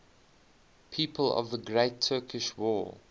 people of the great turkish war